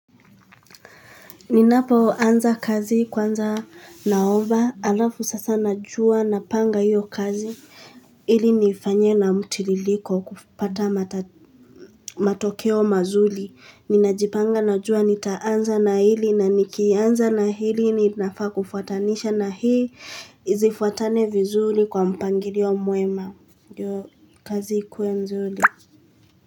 Ninapoanza kazi kwanza naomba halafu sasa najua napanga hiyo kazi ili nifanye na mtiririko kupata matokeo mazuri. Ninajipanga najua nitaanza na hili na nikianza na hili ninafaa kufuatanisha na hii zifuatane vizuri kwa mpangilio mwema ndiyo kazi ikuwe mzuri.